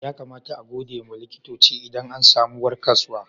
Ya kamata a gode ma likitoci idan an samu warkaswa?